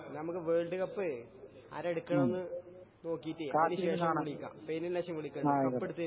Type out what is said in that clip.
എന്നാ നമുക്കെ വേൾഡ് കപ്പേ ആരാ എടുക്കണെന്ന് നോക്കീട്ടെ അതിനു ശേഷം വിളിക്കാം. ഫൈനലിന് ശേഷം വിളിക്കാം കപ്പെടുത്തേന് ശേഷം